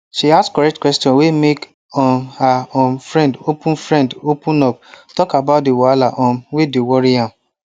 she ask correct questions wey make um her um friend open friend open up talk about the wahala um wey dey worry am